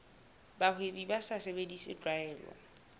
bahwebi ba sa sebedise tlwaelo